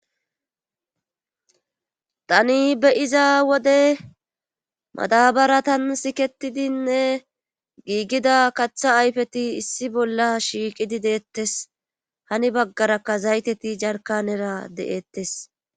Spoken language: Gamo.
Tani beyiza wode madabaratan siketidinne giigida kaththa ayfeti issi bolla shiiqidi deettes hani baggarakka zayteti jarka nera de'ettes.